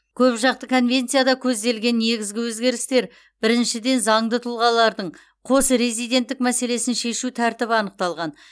көпжақты конвенцияда көзделген негізгі өзгерістер біріншіден заңды тұлғалардың қос резиденттік мәселесін шешу тәртібі анықталған